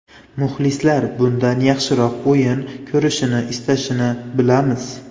Muxlislar bundan yaxshiroq o‘yin ko‘rishni istashini bilamiz.